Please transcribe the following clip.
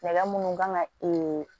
Nɛgɛ munnu kan ka